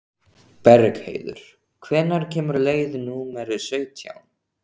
Bergheiður, hvenær kemur leið númer sautján?